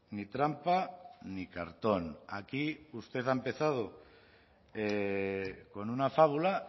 ni trampa ni cartón aquí usted ha empezado con una fábula